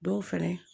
Dɔw fɛnɛ